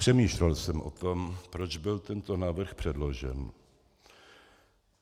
Přemýšlel jsem o tom, proč byl tento návrh předložen.